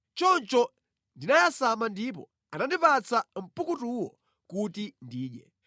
Choncho ndinayasama ndipo anandipatsa mpukutuwo kuti ndidye.